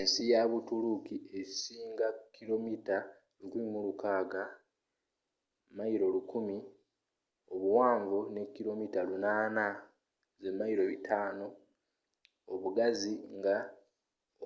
ensi ya buturuuki esinga kilomita 1,600 1,000 mi obuwanvu ne kilomita 800 500 mi obugazi nga